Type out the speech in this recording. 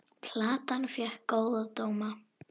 Platan fékk góða dóma.